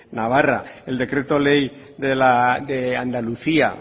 navarra el decreto ley de andalucía